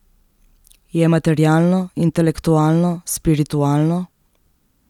Je materialno, intelektualno, spiritualno?